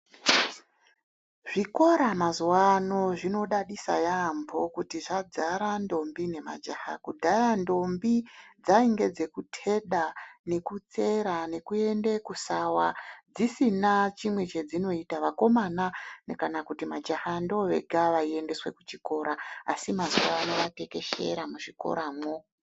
Zvikora mazuvaano zvinodadisa yaambo kuti zvadzara ntombi nemajaha kudhaya ntombi dzainge dzekuteda nekusera nekuenda kusawa dzisina chimwe chedzinoita vakomana kana kuti majaha ndovega vaiendeswe kuchikora asi mazuvaanaya vatekeshera muzvikoramo.